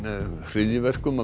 hryðjuverkum